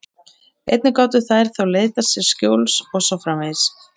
Einnig gátu þær þá leitað sér skjóls og svo framvegis.